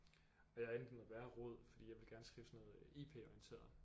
Men jeg er endt i noget værre rod fordi jeg ville gerne skrive sådan noget øh I P orienteret